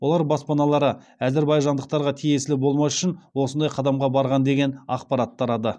олар баспаналары әзербайжандықтарға тиесілі болмас үшін осындай қадамға барған деген ақпарат тарады